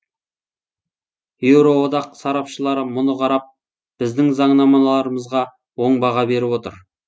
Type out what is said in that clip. еуроодақ сарапшылары мұны қарап біздің заңнамаларымызға оң баға беріп отыр